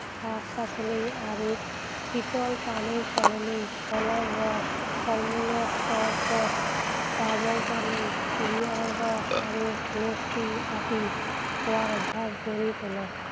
শাক-পাচলি আৰু শীতল পানীৰ সলনি ফলৰ ৰস, ফল মূলৰ চৰবত, ডাবৰ পানী, কুঁহিয়াৰৰ ৰস আৰু লচ্চি আদি খোৱাৰ অভ্যাস গঢ়ি তোলক।